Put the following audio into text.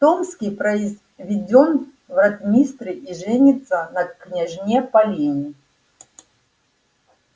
томский произведён в ротмистры и женится на княжне полине